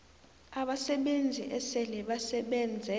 abasebenzi esele basebenze